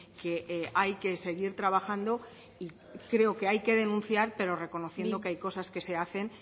que hay que seguir trabajando y creo que hay que denunciar pero reconociendo que hay cosas que se hacen